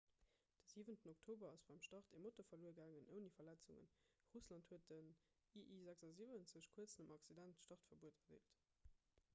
de 7 oktober ass beim start e motor verluer gaangen ouni verletzungen russland huet den ii-76 kuerz nom accident startverbuet erdeelt